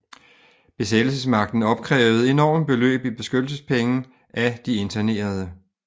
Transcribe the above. Besættelsesmagten opkrævede enorme beløb i beskyttelsespenge af de internerede